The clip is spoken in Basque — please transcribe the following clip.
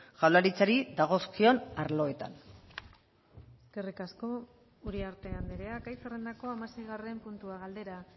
jaurlaritzari dagozkion arloetan eskerrik asko uriarte andrea gai zerrendako hamaseigarren puntuagaldera